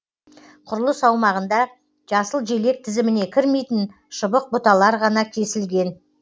құрылыс аумағында жасыл желек тізіміне кірмейтін шыбық бұталар ғана кесілген